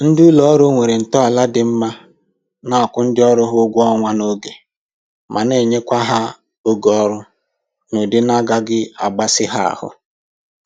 Ndị ụlọ ọrụ nwere ntọala dị mma na-akwụ ndị ọrụ ha ụgwọ ọnwa n'oge ma na-enyekwa ha oge ọrụ n'ụdị na-agaghị akpasị ha ahụ